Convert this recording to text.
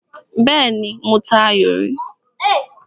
Bẹ́ẹ́nì, mo ta ayò rí.